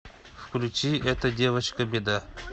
включи эта девочка беда